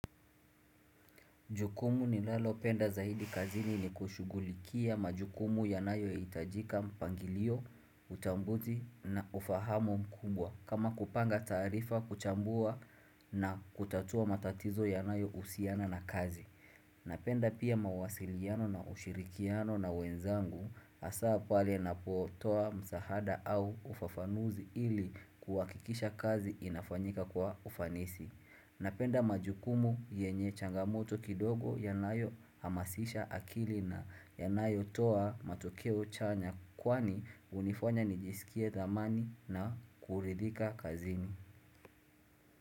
Jukumu nilalopenda zaidi kazini ni kushughulikia majukumu yanayo hitajika mpangilio, utambuzi, na ufahamu mkumbwa. Kama kupanga taarifa, kuchambua, na kutatua matatizo yanayohusiana na kazi. Napenda pia mawasiliano na ushirikiano na wenzangu, hasaa pale napo toa msaada au ufafanuzi ili kuhakikisha kazi inafanyika kwa ufanisi. Napenda majukumu yenye changamoto kidogo yanayo hamasisha akili na yanayo toa matokeo chanya kwani hunifanya nijisikie thamani na kuridhika kazini.